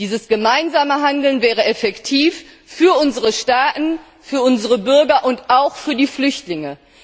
Dieses gemeinsame Handeln wäre effektiv für unsere Staaten, für unsere Bürger und auch für die Flüchtlinge.